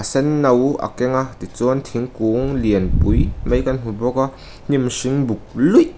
senno a keng a tichuan thingkung lian pui mai kan hmu bawk a hnim hring buk luih--